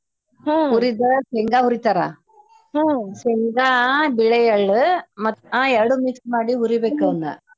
ಹುರಿದ ಶೇಂಗಾ ಹುರಿತಾರ ಶೇಂಗಾ ಬಿಳೆ ಎಳ್ಳ್ ಮತ್ತ್ ಹಾ ಎರಡು mix ಮಾಡಿ ಹುರಿಬೇಕ್ ಅವ್ನ.